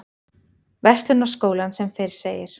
Verslunarskólann sem fyrr segir.